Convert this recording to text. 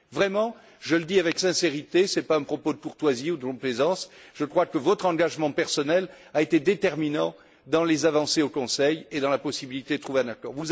Vraiment, je le dis avec sincérité, ce n'est pas un propos de courtoisie ou de complaisance, je crois que votre engagement personnel a été déterminant dans les avancées au Conseil et dans la possibilité de trouver un accord.